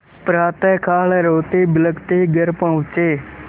प्रातःकाल रोतेबिलखते घर पहुँचे